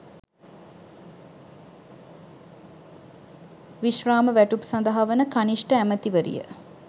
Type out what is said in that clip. විශ්‍රාම වැටුප් සදහා වන කනිෂ්ඨ ඇමතිවරිය